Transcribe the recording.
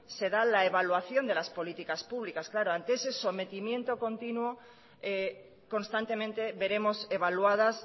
se da la evaluación de las políticas pública claro ante ese sometimiento continuo constantemente veremos evaluadas